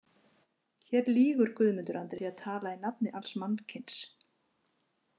Hér lýgur Guðmundur Andri með því að tala í nafni alls mannkyns.